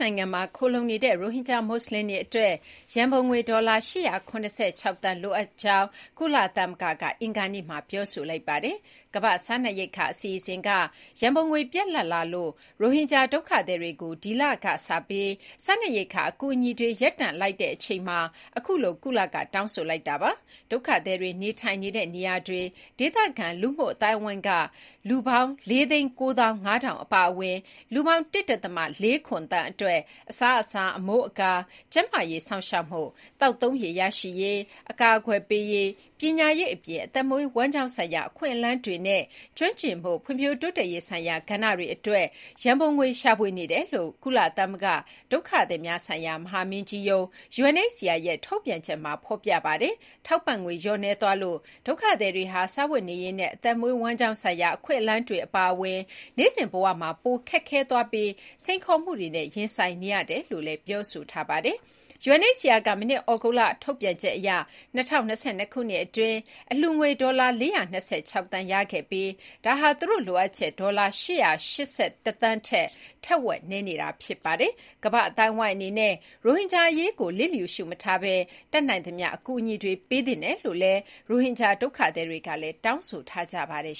နိုင်ငံမှာခိုလှုံနေတဲ့ ရိုဟင်ဂျာ မွတ်ဆလင်တွေအတွက် ရန်ပုံငွေ ဒေါ်လာ ၈၇၆ သန်း လိုအပ်နေတယ်လို့ ကုလသမဂ္ဂက အင်္ဂါနေ့မှာ တောင်းဆိုလိုက်ပါတယ်။ ကမ္ဘာ့စားနပ်ရိက္ခာအစီအစဉ်က ရန်ပုံငွေပြတ်လပ်လာလို့ ရိုဟင်ဂျာဒုက္ခသည်တွေကို ဒီလကနေစပြီး စားနပ်ရိက္ခာအကူအညီတွေ ရပ်တန့်လိုက်တဲ့ အချိန်မှာ ကုလက အခုလို တောင်းဆိုလိုက်တာပါ။ ဒုက္ခသည်တွေနေထိုင်နေတဲ့နေရာတွေက ဒေသခံလူ့အသိုင်းအဝန်းက လူ ၄၉၅,၀၀၀ အပါအဝင် လူပေါင်း ၁.၄၇ သန်းအတွက် အစားအစာ၊ အမိုးအကာ၊ ကျန်းမာရေးစောင့်ရှောက်မှု၊ သောက်သုံးရေရရှိရေး၊ အကာအကွယ်ပေးရေး၊ ပညာရေးအပြင် အသက်မွေးဝမ်းကျောင်းဆိုင်ရာ အခွင့်အလမ်းတွေနဲ့ ကျွမ်းကျင်မှု ဖွံ့ဖြိုးတိုးတက်ရေးဆိုင်ရာကဏ္ဍတွေအတွက် ရန်ပုံငွေရှာဖွေနေတယ်လို့ ကုလသမဂ္ဂဒုက္ခသည်များဆိုင်ရာ မဟာမင်းကြီးရုံး ရဲ့ ထုတ်ပြန်ချက်မှာ ဖော်ပြထားပါတယ်။ ထောက်ပံ့ငွေလျော့နည်းသွားလို့ ဒုက္ခသည်တွေဟာ စားဝတ်နေရေးနဲ့ အသက်မွေးဝမ်းကြောင်းဆိုင်ရာ အခွင့်အလမ်းတွေအပါအဝင် နေ့စဉ်ဘဝမှာ ပိုခက်ခဲသွားပြီး စိန်ခေါ်မှုတွေနဲ့ ရင်ဆိုင်နေရတယ်လို့ ဆိုပါတယ်။ UNHCR က မနှစ် သြဂုတ်လမှာ ထုတ်ပြန်ချက်အရ ၂၀၂၂ ခုနှစ်အတွင်း အလှူငွေဒေါ်လာ ၄၂၆ သန်းရရှိခဲ့ပြီး ဒါဟာ သူတို့လိုအပ်ချက် ဒေါ်လာ ၈၈၁ သန်းထက် ထက်ဝက်နည်းနေပါတယ်။ ကမ္ဘာ့အသိုင်းအဝိုင်းအနေနဲ့ ရိုဟင်ဂျာအရေးကို လျစ်လျူရှု မထားဘဲ တတ်နိုင်သမျှ အကူအညီတွေ ပေးသင့်တယ်လို့ ရိုဟင်ဂျာဒုက္ခသည်တွေကလည်း တောင်းဆိုထားကြပါတယ်